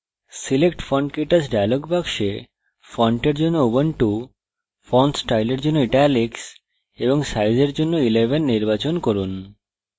select fontktouch dialog box font in জন্য ubuntu font style in জন্য italics এবং size in জন্য 11 নির্বাচন করুন